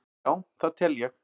Já það tel ég.